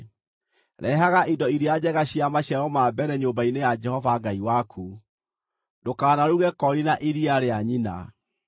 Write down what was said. “Rehaga indo iria njega cia maciaro ma mbere nyũmba-inĩ ya Jehova Ngai waku. “Ndũkanaruge koori na iria rĩa nyina.